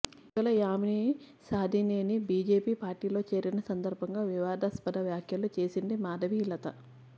ఇటీవల యామిని సాధినేని బీజేపీ పార్టీలో చేరిన సందర్భంగా వివాదాస్పద వ్యాఖ్యలు చేసింది మాధవి లత